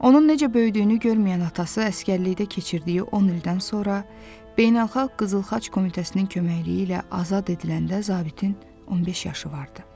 Onun necə böyüdüyünü görməyən atası əsgərlikdə keçirdiyi 10 ildən sonra Beynəlxalq Qızıl Xaç Komitəsinin köməkliyi ilə azad ediləndə zabitin 15 yaşı vardı.